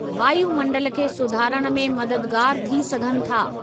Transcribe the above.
वायूमंडलु खे सुधारण में मददगारु थी सघनि था।